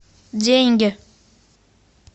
деньги